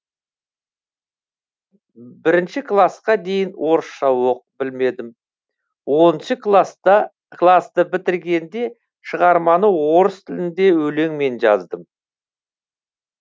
бірінші класқа дейін орысша білмедім оныншы класты бітіргенде шығарманы орыс тілінде өлеңмен жаздым